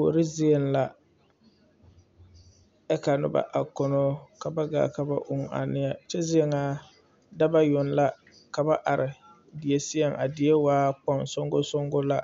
Kuori zie la ka noba a kono ka ba gaa ka ba uu a neɛ kyɛ zie nyɛ dɔba yoŋ la ka ba are a die seɛŋ a die waa kpoŋ soŋkoso la